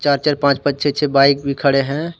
चार चार पांच पांच छह छह बाइक भी खड़े हैं।